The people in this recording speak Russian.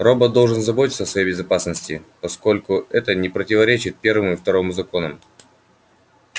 робот должен заботиться о своей безопасности поскольку это не противоречит первому и второму законам